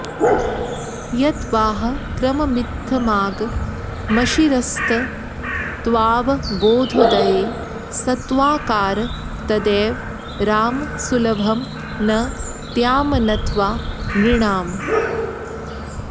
यत्त्वाह क्रममित्थमागमशिरस्तत्त्वावबोधोदये सत्त्वाकार तदेव राम सुलभं न त्वामनत्वा नृणाम्